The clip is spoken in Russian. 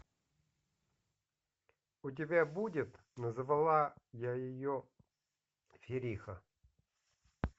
у тебя будет назвала я ее фериха